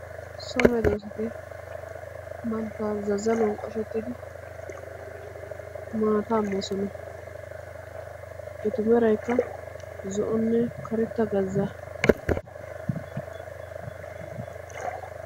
So meedosati bantta zazzaluwaan qashshettidi maataa moosona. etu meraykka zo"onne karetta gazzaa.